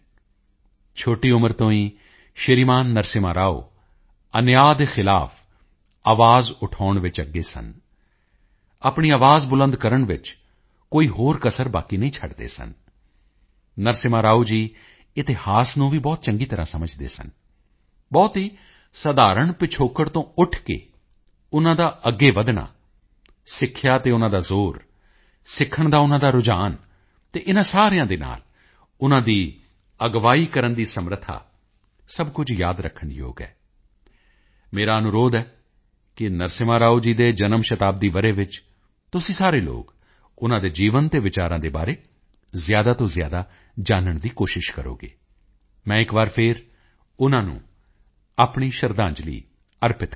ਛੋਟੀ ਉਮਰ ਤੋਂ ਹੀ ਸ਼੍ਰੀਮਾਨ ਨਰਸਿਮ੍ਹਾ ਰਾਓ ਅਨਿਆਂ ਦੇ ਖਿਲਾਫ ਆਵਾਜ਼ ਉਠਾਉਣ ਵਿੱਚ ਅੱਗੇ ਸਨ ਆਪਣੀ ਆਵਾਜ਼ ਬੁਲੰਦ ਕਰਨ ਵਿੱਚ ਕੋਈ ਹੋਰ ਕਸਰ ਬਾਕੀ ਨਹੀਂ ਛੱਡਦੇ ਸਨ ਨਰਸਿਮ੍ਹਾ ਰਾਓ ਜੀ ਇਤਿਹਾਸ ਨੂੰ ਵੀ ਬਹੁਤ ਚੰਗੀ ਤਰ੍ਹਾਂ ਸਮਝਦੇ ਸਨ ਬਹੁਤ ਹੀ ਸਧਾਰਣ ਪਿਛੋਕੜ ਤੋਂ ਉੱਠ ਕੇ ਉਨ੍ਹਾਂ ਦਾ ਅੱਗੇ ਵਧਣਾ ਸਿੱਖਿਆ ਤੇ ਉਨ੍ਹਾਂ ਦਾ ਜ਼ੋਰ ਸਿੱਖਣ ਦਾ ਉਨ੍ਹਾਂ ਦਾ ਰੁਝਾਨ ਅਤੇ ਇਨ੍ਹਾਂ ਸਾਰਿਆਂ ਦੇ ਨਾਲ ਉਨ੍ਹਾਂ ਦੀ ਅਗਵਾਈ ਕਰਨ ਦੀ ਸਮਰੱਥਾ ਸਭ ਕੁਝ ਯਾਦ ਰੱਖਣ ਯੋਗ ਹੈ ਮੇਰਾ ਅਨੁਰੋਧ ਹੈ ਕਿ ਨਰਸਿਮ੍ਹਾ ਰਾਓ ਜੀ ਦੇ ਜਨਮ ਸ਼ਤਾਬਦੀ ਵਰ੍ਹੇ ਵਿੱਚ ਤੁਸੀਂ ਸਾਰੇ ਲੋਕ ਉਨ੍ਹਾਂ ਦੇ ਜੀਵਨ ਅਤੇ ਵਿਚਾਰਾਂ ਦੇ ਬਾਰੇ ਜ਼ਿਆਦਾ ਤੋਂ ਜ਼ਿਆਦਾ ਜਾਨਣ ਦੀ ਕੋਸ਼ਿਸ਼ ਕਰੋ ਮੈਂ ਇੱਕ ਵਾਰ ਫਿਰ ਉਨ੍ਹਾਂ ਨੂੰ ਆਪਣੀ ਸ਼ਰਧਾਂਜਲੀ ਅਰਪਿਤ ਕਰਦਾ ਹਾਂ